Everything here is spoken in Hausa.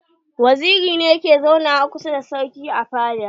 Waziri ne ke zauna wa kusa da sarki a fada.